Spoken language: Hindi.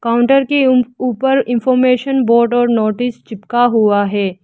काउंटर के उम् ऊपर इनफॉरमेशन बोर्ड और नोटिस चिपका हुआ है।